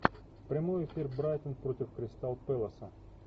прямой эфир брайтон против кристал пэласа